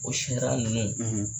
O sariya ninnu